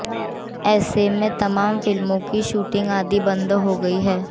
ऐसे में तमाम फिल्मों की शूटिंग आदि बंद हो गई है